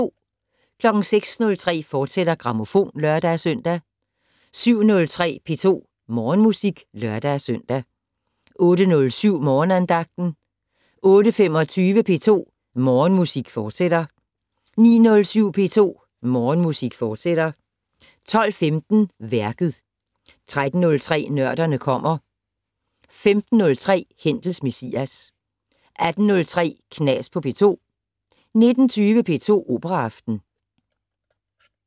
06:03: Grammofon, fortsat (lør-søn) 07:03: P2 Morgenmusik (lør-søn) 08:07: Morgenandagten 08:25: P2 Morgenmusik, fortsat 09:07: P2 Morgenmusik, fortsat 12:15: Værket 13:03: Nørderne kommer 15:03: Händels Messias 18:03: Knas på P2 19:20: P2 Operaaften